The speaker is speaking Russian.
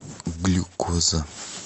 глюкоза